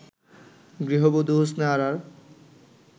গৃহবধূ হোসনে আরার